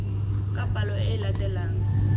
ka palo e e latelang